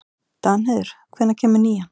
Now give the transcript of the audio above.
Danheiður, hvenær kemur nían?